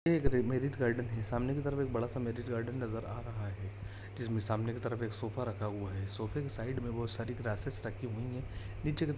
ये एक marriage garden है सामने की तरफ एक बड़ा मैरिज गार्डन नज़र आ रहा है जिसमें सामने की तरफ एक सोफा रखा हुआ है सोफे के साइड़ में बहुत सारी ग्रासीस रखी हुई है नीचे की तरफ--